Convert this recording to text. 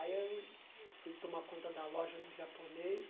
Aí eu fui tomar conta da loja do japonês.